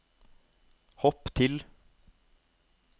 hopp til